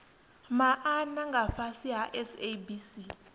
maana nga fhasi ha sabc